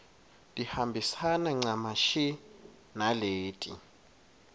tihambisane ncamashi naleti